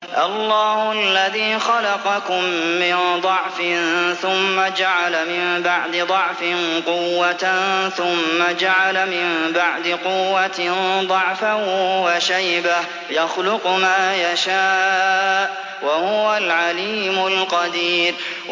۞ اللَّهُ الَّذِي خَلَقَكُم مِّن ضَعْفٍ ثُمَّ جَعَلَ مِن بَعْدِ ضَعْفٍ قُوَّةً ثُمَّ جَعَلَ مِن بَعْدِ قُوَّةٍ ضَعْفًا وَشَيْبَةً ۚ يَخْلُقُ مَا يَشَاءُ ۖ وَهُوَ الْعَلِيمُ الْقَدِيرُ